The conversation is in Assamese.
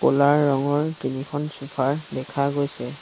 ক'লা ৰঙৰ তিনিখন চোফাৰ দেখা গৈছে।